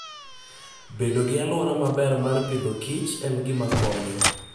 Bedo gi alwora maber mar pidhokich en gima konyo.